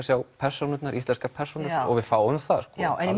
sjá persónurnar íslenskar persónur og við fáum það